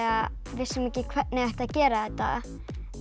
vissum ekki hvernig ætti að gera þetta